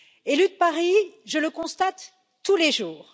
Élue de Paris, je le constate tous les jours.